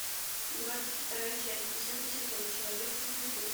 двадцать вторая часть десятый сезон человек со звезды